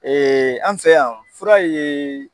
an fɛ yan fura ye.